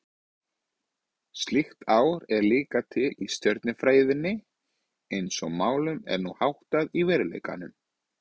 Slíkt ár er líka til í stjörnufræðinni eins og málum er nú háttað í veruleikanum.